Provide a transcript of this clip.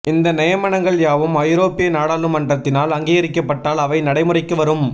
இந்த நியமனங்கள் யாவும் ஐரோப்பிய நாடாளுமன்றத்தினால் அங்கீகரிப்பட்டால் அவை நடைமுறைக்கு வரும்